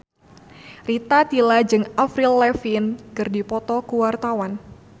Rita Tila jeung Avril Lavigne keur dipoto ku wartawan